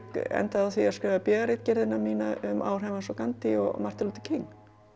endaði á því að skrifa b a ritgerðina mína um áhrif hans á Gandhi og Martin Luther King